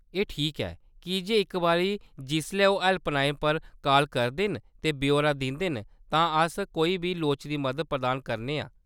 एह्‌‌ ठीक ऐ कीजे इक बारी जिसलै ओह्‌‌ हैल्पलाइन पर काल करदे न ते ब्यौरा दिंदे न, तां अस कोई बी लोड़चदी मदद प्रदान करने आं।